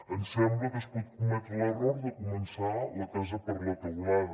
ens sembla que es pot cometre l’error de començar la casa per la teulada